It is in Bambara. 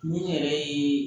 Min yɛrɛ ye